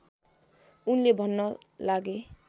उनले भन्न लागे